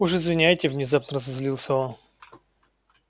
уж извиняйте внезапно разозлился он